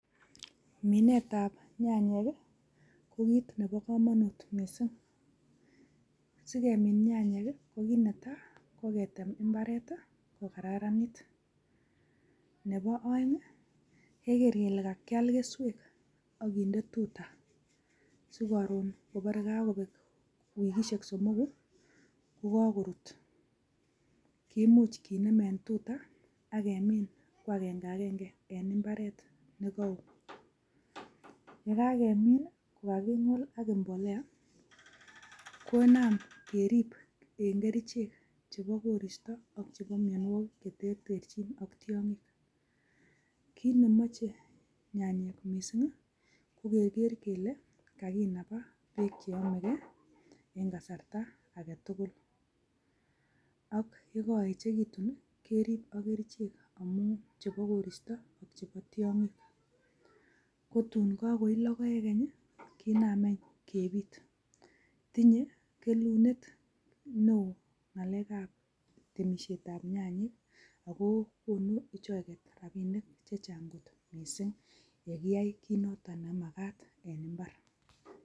Minet ab nyanyik ko kiit nepo komonut mising'. Sikemin nyanyik, ko kiit netai, koketem imbaret kokararanit. Nepo oeng' keker kele kakial keswek akinde tuta. Sikoroon kopore kokopek wikisyek somoku, kokorut. Kimuch kinem en tuta, okinem kwagenge ageng'e en imbaret. Ye kakemin, kingol ak imbolea, konam kerip en kerchek chepo koristo, ak chepo mionwogik cherterchin. Kiit nemoche nyanyik mising, kokeker kele, kaginaga peek cheomege en kasarta agetugul Ak yekoechegitun, kerip ak kerichek chepo koristo ak chepo tiong'ik. Ko tuun kokoi logoek any, kinam any kepiit. Tinye kelunet neo ng'alek ab temisiet ab nyanyik, akokonu rapisiek chechang' mising' yekiyai kiit nemakat en imbar.